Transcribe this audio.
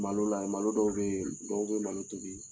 Malo lajɛ malo dɔw bɛ yen dɔw bɛ malo tobi